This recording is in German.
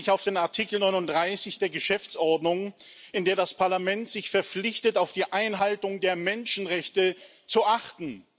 Ich beziehe mich auf Artikel 39 der Geschäftsordnung, in der das Parlament sich verpflichtet, auf die Einhaltung der Menschenrechte zu achten.